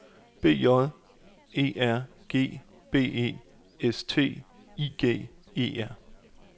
B J E R G B E S T I G E R